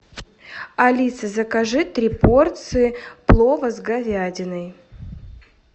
алиса закажи три порции плова с говядиной